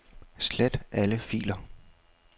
Slet alle filer.